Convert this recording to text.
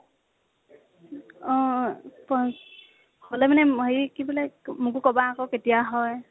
অ প হলে মানে কি বোলে, মোকো কবা আকৌ কেতিয়া হয়